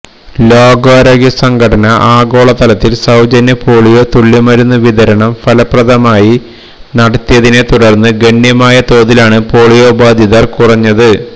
ലോകാരോഗ്യസംഘടന ആഗോളതലത്തില് സൌജന്യ പോളിയോ തുള്ളിമരുന്നുവിതരണം ഫലപ്രദമായി നടത്തിയതിനെത്തുടര്ന്ന് ഗണ്യമായ തോതിലാണ് പോളിയോബാധിതര് കുറഞ്ഞത്